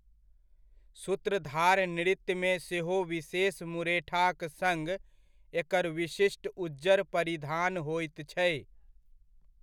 सूत्रधार नृत्यमे सेहो विशेष मुरेठाक सङ एकर विशिष्ट उज्जर परिधान होइत छै।